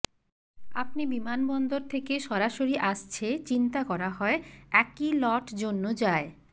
আপনি বিমানবন্দর থেকে সরাসরি আসছে চিন্তা করা হয় একই লট জন্য যায়